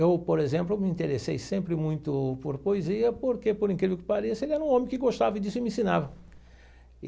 Eu, por exemplo, me interessei sempre muito por poesia, porque, por incrível que pareça, ele era um homem que gostava disso e me ensinava.